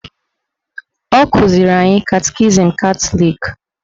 Ọ kụziri anyị katikizim Katọlik